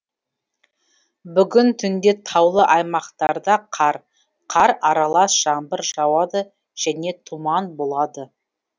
бүгін түнде таулы аймақтарда қар қар аралас жаңбыр жауады және тұман болады